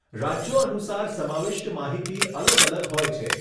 રાજ્યો અનુસાર સમાવિષ્ટ માહિતી અલગ અલગ હોય છે.